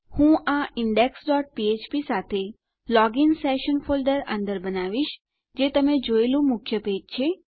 હું આ index dot ફ્ફ્પ સાથે લોગીન સેશન ફોલ્ડર અંદર બનાવીશ જે તમે જોયેલું મુખ્ય પેજ છે